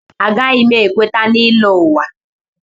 Agaghị m ekweta na ịlọ ụwa.